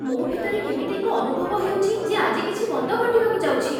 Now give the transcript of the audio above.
ମୋ ଭିତରେ କେମିତି ଏକ ଅନୁଭବ ହେଉଛି, ଯେ ଆଜି କିଛି ମନ୍ଦ ଘଟିବାକୁ ଯାଉଛି।